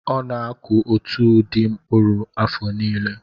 Ọ na-akụ otu ụdị mkpụrụ afọ niile.